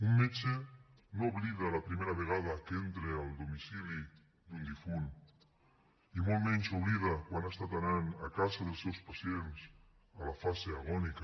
un metge no oblida la primera vegada que entra al domicili d’un difunt i molt menys oblida quan ha estat anant a casa dels seus pacients a la fase agònica